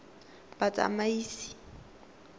batsamaisi